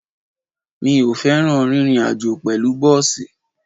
Mi ò fẹ́ràn rírin àjó pẹ̀lú bọ́ọ̀sì.